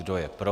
Kdo je pro?